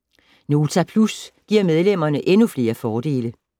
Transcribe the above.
Nota Plus giver medlemmerne endnu flere fordele